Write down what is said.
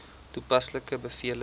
toepaslike bevele ten